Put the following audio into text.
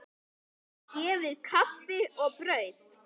Henni gefið kaffi og brauð.